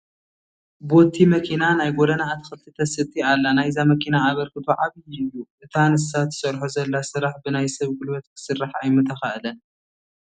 ቦቲ መኪና ናይ ጐደና ኣትክልቲ ተስቲ ኣላ፡፡ ናይዛ መኪና ኣበርክቶ ዓብዪ እዩ፡፡ እቲ ንሳ ትሰርሖ ዘላ ስራሕ ብናይ ሰብ ጉልበት ክስራሕ ኣይምተኻእለን፡፡